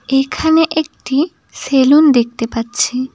এখানে একটি সেলুন দেখতে পাচ্ছি।